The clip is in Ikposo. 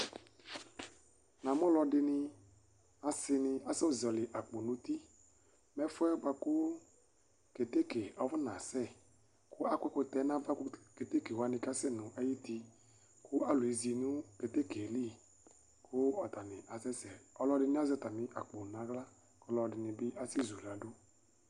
Namʋ alʋɛdini asini asɛzɔli akpo nʋ uti Nʋ ɛfʋɛ bʋakʋ keteke afɔnasɛ Akpɔ ɛkʋtɛwani nʋ awa kʋ ketekewani kasɛ nʋ uti Kʋ alʋ ezinʋ keteke yɛli, kʋ atani asɛsɛ, kʋ alʋɛdini azɛ atami nʋ aɣla kʋ alʋɛdini bi asɛzʋladʋ